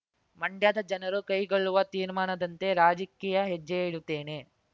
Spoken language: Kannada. ಮಂಡ್ಯದ ಜನರು ಕೈಗೊಳ್ಳುವ ತೀರ್ಮಾನದಂತೆ ರಾಜಕೀಯ ಹೆಜ್ಜೆ ಇಡುತ್ತೇನೆ